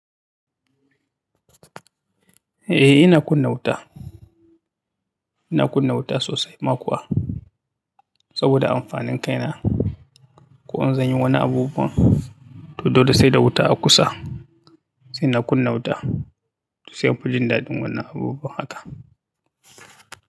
Eh ina kunna wuta, ina kunna wuta sosai ma kuwa saboda amfanin kaina. Ko in zan yi wani abubuwan to dole sai da wuta a kusa sai na kunna wuta sai in fi jin daɗin wannan abubuwan haka.